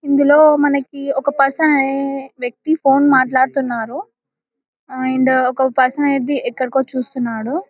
ఇందు లో మనకు ఒక పర్సన్ వ్వక్తి ఫోన్ లో మాటలుడుతున్నారు అండ్ ఒక పర్సన్ ఐతే ఎక్కడికో వచ్చి చేస్తున్నారు.